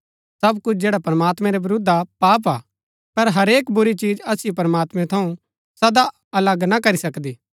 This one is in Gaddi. सब कुछ जैड़ा प्रमात्मैं रै विरूद्ध हा पाप हा पर हरेक बुरी चिज असिओ प्रमात्मैं थऊँ सदा अलग ना करी सकदी